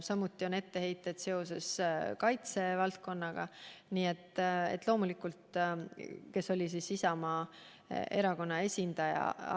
Samuti on etteheiteid seoses kaitsevaldkonnaga, mille minister oli Isamaa Erakonna esindaja.